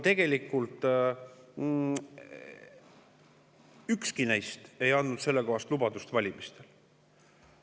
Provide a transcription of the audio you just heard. Tegelikult ükski neist ei andnud sellekohast lubadust valimistel.